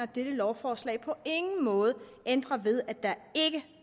dette lovforslag på ingen måde ændrer ved at der ikke